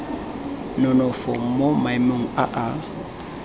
nonofo mo maemong a a